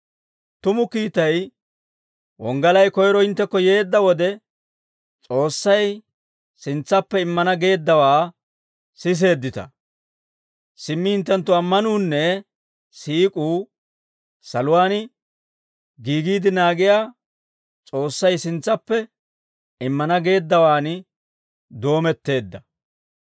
Tumu kiitay wonggalay koyiro hinttekko yeedda wode, S'oossay sintsaappe immana geeddawaa siseeddita. Simmi hinttenttu ammanuunne siik'uu saluwaan giigiide naagiyaa, S'oossay sintsappe immana geeddawan doometteedda.